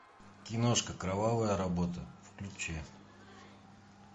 киношка кровавая работа включи